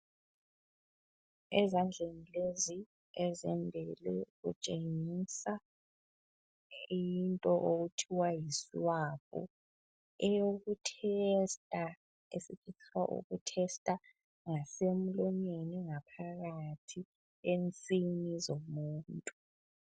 Ezandleni lezi ezimbili kutshengisa into okuthiwa yiswabhu eyokuthesta esifisa ukuthesta ngasemlonyeni ngaphakathi ensinini zomuntu.